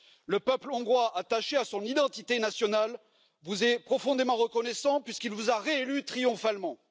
Le peuple hongrois, attaché à son identité nationale, vous est profondément reconnaissant puisqu'il vous a réélu triomphalement.